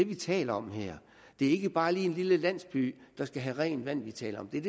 vi taler om her det er ikke bare en lille landsby der skal have rent vand vi taler om det er